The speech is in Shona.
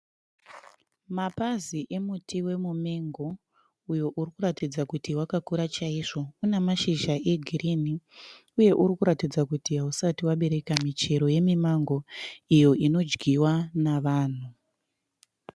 Mapazi emuti wemuMengo uyo uri kuratidza kuti wakakura chaizvo. Una mashizha egirini uye uri kuratidza kuti hausati wabereka muchero yemiMango iyo inodyiwa navanhu.